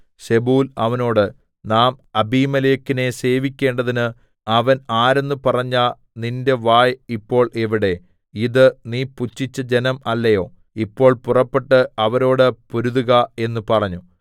സെബൂൽ അവനോട് നാം അബീമേലെക്കിനെ സേവിക്കേണ്ടതിന് അവൻ ആരെന്ന് പറഞ്ഞ നിന്റെ വായ് ഇപ്പോൾ എവിടെ ഇത് നീ പുച്ഛിച്ച ജനം അല്ലയോ ഇപ്പോൾ പുറപ്പെട്ടു അവരോട് പൊരുതുക എന്ന് പറഞ്ഞു